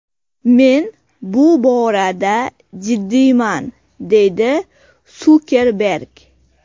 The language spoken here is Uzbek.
Men bu borada jiddiyman”, deydi Sukerberg.